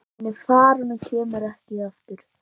Hún er farin og kemur ekki aftur.